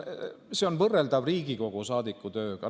See on võrreldav Riigikogu saadiku tööga.